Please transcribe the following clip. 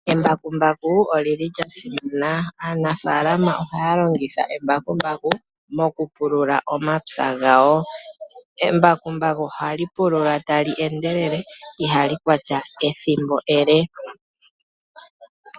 Embakumbaku olyi li lya simana. Aanafaalama ohaya longitha embakumbaku, mokupulula omapya gawo. Embakumbaku ohali pulula ta li endelele, iha li kwata ethimbo ele.